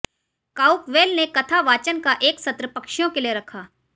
काउकवेल ने कथा वाचन का एक सत्र पक्षियों के लिए रखा